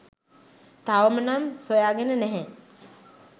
තවම නම් සොයාගෙන නැහැ.